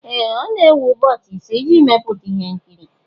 Ee! Ọ na-ewe ụbọchị ise iji mepụta ihe nkiri